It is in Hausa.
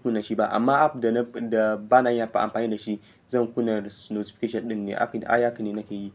kun-na shi ba. Amma app da ba na yi amfani da shi, zan kunna notification ɗin ne. Haka ne nake yi.